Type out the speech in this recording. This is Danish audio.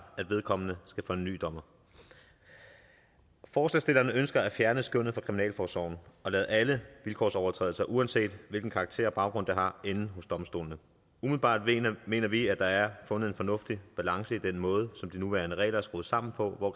at vedkommende skal for en ny dommer forslagsstillerne ønsker at fjerne skønnet fra kriminalforsorgen og lade alle vilkårsovertrædelser uanset hvilken karakter og baggrund de har ende hos domstolene umiddelbart mener vi at der er fundet en fornuftig balance i den måde som de nuværende regler er skruet sammen på hvor